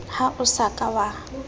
ha o sa ka wa